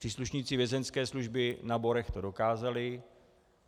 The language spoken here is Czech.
Příslušníci vězeňské služby na Borech to dokázali.